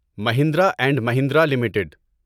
Mahindra and Mahindra limited